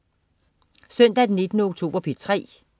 Søndag den 19. oktober - P3: